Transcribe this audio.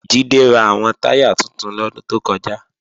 Jídé ra àwọn táyà tuntun lọ́dún tó kọjá